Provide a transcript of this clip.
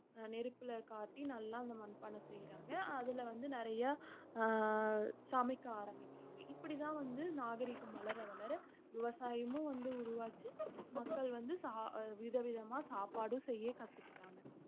அஹ் நெருப்புல காட்டி நல்லா அந்த மண்பானை செய்யறாங்க அதுல வந்து நிறையா ஆஹ் சமைக்க ஆரம்பிக்கறாங்க இப்படித்தான் வந்து நாகரிகம் வளர வளர விவசாயமும் வந்து உருவாச்சு மக்கள் வந்து சா~ விதவிதமா சாப்பாடும் செய்ய கத்துக்கிட்டாங்க